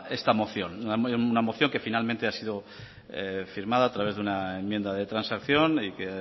esta moción una moción que finalmente ha sido firmada a través de una enmienda de transacción y que